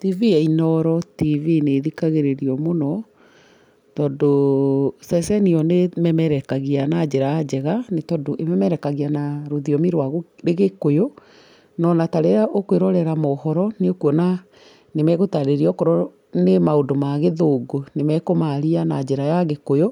TV ya Inooro TV nĩ ĩthikagĩrĩrio mũno, tondũ ceceni ĩyo nĩ ĩmemerekagia na njĩra njega nĩ tondũ ĩmemerekagia na rũthiomi rwa gĩkũyũ, no na ta rĩrĩa ũkwĩrorera mohoro nĩ ũkuona nĩ megũtarĩrĩa okorwo nĩ maũndũ ma gĩthũngũ nĩ makũmaria na njĩra ya gĩkũyũ,